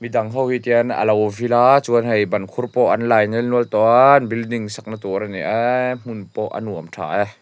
ho hi tian a lo vil a chuan hei ban khur pawh an lai nelnual tawh a an building sakna tur a ni aaa hmun pawh a nuam tha e.